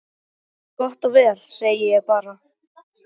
Gott og vel, segi ég bara.